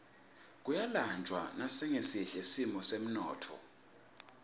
kuyalanjwa nasingesihle simo semnotfo